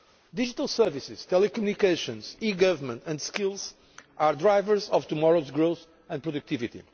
Digital services, telecommunications, e government and skills are the drivers of tomorrow's growth and productivity.